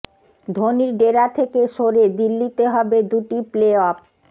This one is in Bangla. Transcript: ধোনির ডেরা থেকে সরে দিল্লিতে হবে দুটি প্লে অফ